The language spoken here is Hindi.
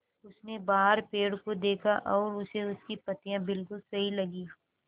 उसने बाहर पेड़ को देखा और उसे उसकी पत्तियाँ बिलकुल सही लगीं